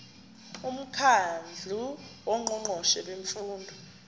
umkhandlu wongqongqoshe bemfundo